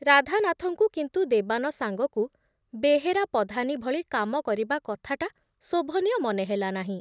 ରାଧାନାଥଙ୍କୁ କିନ୍ତୁ ଦେବାନ ସାଙ୍ଗକୁ ବେହେରା ପଧାନୀ ଭଳି କାମ କରିବା କଥାଟା ଶୋଭନୀୟ ମନେ ହେଲା ନାହିଁ ।